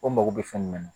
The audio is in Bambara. Ko mako bɛ fɛn min na